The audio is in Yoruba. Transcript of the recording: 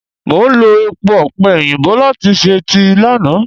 Mo lo èpo ọ̀pẹ̀ òyìnbó láti ṣe tíì lánàá.